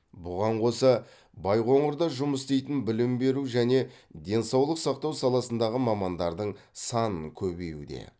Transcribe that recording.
бұған қоса байқоңырда жұмыс істейтін білім беру және денсаулық сақтау саласындағы мамандардың санын көбеюде